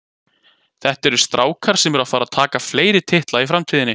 Þetta eru strákar sem eru að fara að taka fleiri titla í framtíðinni.